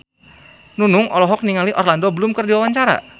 Nunung olohok ningali Orlando Bloom keur diwawancara